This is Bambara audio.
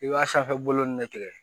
I b'a sanfɛbolonin de tigɛ